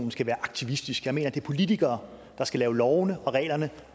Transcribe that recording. skal være aktivistiske jeg mener at det er politikere der skal lave lovene og reglerne